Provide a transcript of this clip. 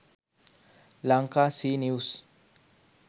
lankacnews